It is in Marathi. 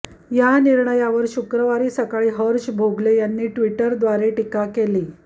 या निर्णयावर शुक्रवारी सकाळी हर्षा भोगले यांनी ट्वीटद्वारे टीका केली